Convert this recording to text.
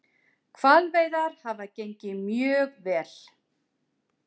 Hvalveiðar hafa gengið mjög vel